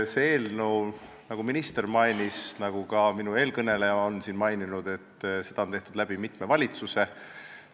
Seda eelnõu, nagu mainisid nii minister kui ka eelkõneleja, on tehtud mitmes valitsuses.